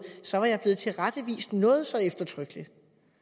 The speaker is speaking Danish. så var jeg blevet tilrettevist noget så eftertrykkeligt